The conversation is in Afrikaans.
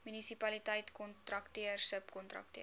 munisipaliteit kontrakteur subkontrakteur